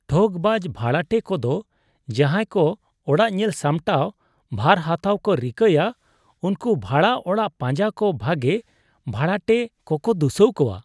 ᱴᱷᱚᱜᱽᱵᱟᱡᱽ ᱵᱷᱟᱲᱟᱴᱮ ᱠᱚᱫᱚ ᱡᱟᱦᱟᱸᱭ ᱠᱚ ᱚᱲᱟᱜ ᱧᱮᱞ ᱥᱟᱢᱴᱟᱣ ᱵᱷᱟᱨ ᱦᱟᱛᱟᱣ ᱠᱚ ᱨᱤᱠᱟᱹᱭᱼᱟ ᱩᱱᱠᱚ ᱵᱷᱟᱲᱟ ᱚᱲᱟᱜ ᱯᱟᱸᱡᱟ ᱠᱚ ᱵᱷᱟᱜᱮ ᱵᱷᱟᱲᱟᱴᱮ ᱠᱚᱠᱚ ᱫᱩᱥᱟᱹᱣ ᱠᱚᱣᱟ ᱾